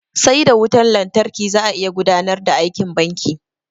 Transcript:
Sai da wutan lantarki za a iya gudanar da aikin banki.